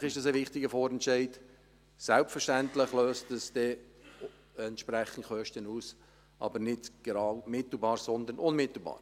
Selbstverständlich ist dies ein wichtiger Vorentscheid, selbstverständlich löst dieser entsprechende Kosten aus, aber nicht mittelbar, sondern unmittelbar.